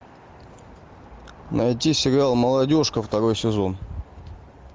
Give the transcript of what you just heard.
найти сериал молодежка второй сезон